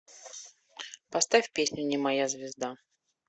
поставь песню не моя звезда